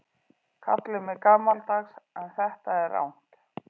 Kallið mig gamaldags en þetta er rangt.